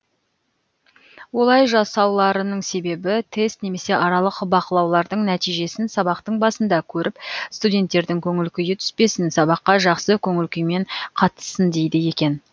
олай жасауларының себебі тест немесе аралық бақылаулардың нәтижесін сабақтың басында көріп студенттердің көңіл күйі түспесін сабаққа жақсы көңіл күймен қатыссын дейді екен